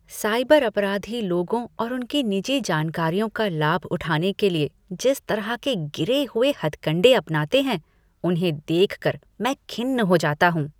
Cyber अपराधी लोगों और उनकी निजी जानकारियों का लाभ उठाने के लिए जिस तरह के गिरे हुए हथकंडे अपनाते हैं, उन्हें देख कर मैं खिन्न हो जाता हूँ।